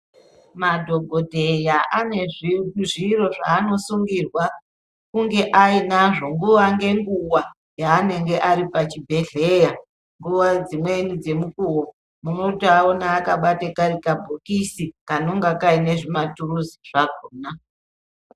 Madhokodheya ane zviro zvanosungirwa kunge ainazvo nguwa ngenguwa yanenge Ari pachibhedhlera nguwa dzimweni dzemukuwo unotovaoana vakabata kabhokisi kanenge Kane maturuzi akona.